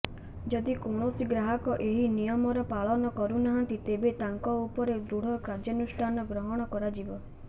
ଯଦି କୌଣସି ଗ୍ରାହକ ଏହି ନିୟମର ପାଳନ କରୁନାହାନ୍ତି ତେବେ ତାଙ୍କ ଉପରେ ଦୃଢ କାର୍ୟ୍ୟାନୁଷ୍ଠାନ ଗ୍ରହଣ କରାଯିବ